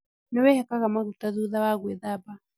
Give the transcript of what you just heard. Nĩwĩhakaga maguta thutha wa gwĩthamba